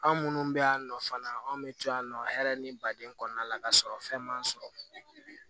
Anw minnu bɛ yan nɔ fana anw bɛ to yan nɔ hɛrɛ ni baden kɔnɔna la ka sɔrɔ fɛn man sɔrɔ